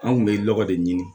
An kun bɛ lɔgɔ de ɲini